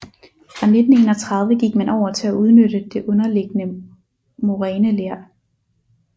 Fra 1931 gik man over til at udnytte det underliggende moræneler